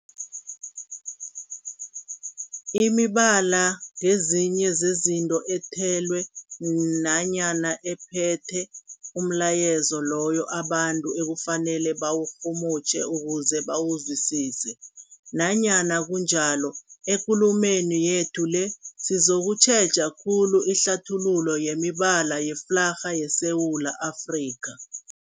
Imibala ngezinye zezinto ethelwe nanyana ephethe umlayezo loyo abantu ekufanele bawurhumutjhe ukuze bawuzwisise. Nanyana kunjalo, ekulumeni yethu le sizokutjheja khulu ihlathululo yemibala yeflarha yeSewula Afrika.